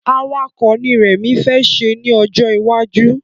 Awakọ̀ ni rẹmi fẹ́ ṣe ni ọjọ iwaju